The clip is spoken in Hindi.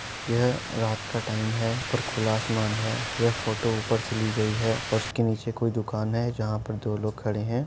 यह रात का टाइम है। ऊपर खुला आसमान है। यह फोटो ऊपर से ली गई है और उसके नीचे कोई दुकान है। जहाँ पर दो लोग खड़े हैं।